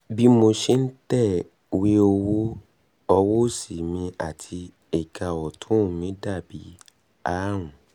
bí mo ṣe ń tẹ̀wé ọwọ́ tẹ̀wé ọwọ́ òsì mi àti ẹ̀ka ọ̀tún mi ti dà bí ààrùn